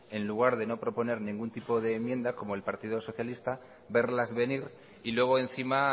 en lugar de no proponer ningún tipo de enmienda como el partido socialista verlas venir y luego encima